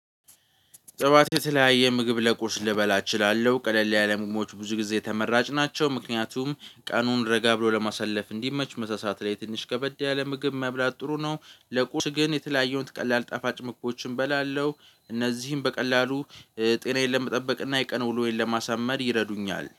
ጸዋት የተለያየ ምግብ ለቁርስ ልበላ እችላለሁ ቀለል ያለ ምግቦች ብዙ ጊዜ ተመራጭ ናቸው ምክንያቱም ቀኑን ረጋ ብሎ ለማሳለፍ እንዲመች መሳሳት ላይ ትንሽ ከበድ ያለ ምግብ መብላት ጥሩ ነው። ለቁርስ ግን የተለያየሁት ቀላል ጣፋጭ ምግቦችን እበላለሁ። እነዚህን በቀላሉ ጤናዬን ለመጠበቅ እና የቀን ውሎዬን ለማሳመር ይረዱኛል